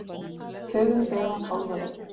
Hugurinn ber mann hálfa leið.